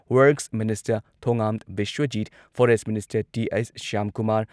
Works minister Thongam Biswajit, forest minister T H. Shyamkumar